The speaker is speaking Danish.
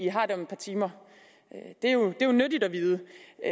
har det om et par timer det er jo nyttigt at vide